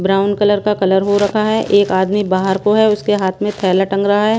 Brown colour का colour हो रखा है एक आदमी बाहर को है उसके हाथ में थैला टंग रहा है।